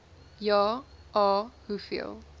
ja a hoeveel